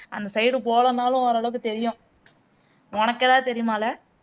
அந்த side போகலைனாலும் ஒரு அளவுக்கு தெரியும் உனக்கு ஏதாவது தெரியுமால